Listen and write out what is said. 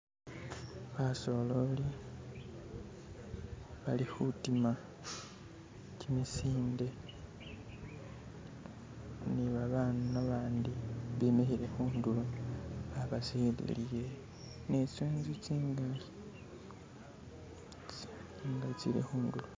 Basololi bali khutima kimisinde ne babana babandi bemikhile khundulo babasililile ne tsi'nzu tsingali tsi'nanga tsili khundulo.